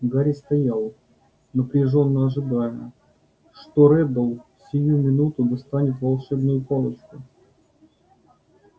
гарри стоял напряжённо ожидая что реддл сию минуту достанет волшебную палочку